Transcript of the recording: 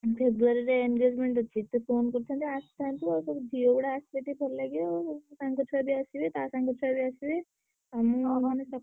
February ରେ engagement ଅଛି। ସେ phone କରିଥିଲେ ଆସିଥାନ୍ତି ଆଉ ସବୁ ଝିଅଗୁଡା ଆସିଲେ ବି ଭଲ ଲାଗିବ। ସାଙ୍ଗଛୁଆ ବି ଆସିବେ ତା ସାଙ୍ଗଛୁଆ ବି ଆସିବେ। ଆମ ମାନେ।